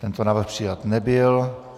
Tento návrh přijat nebyl.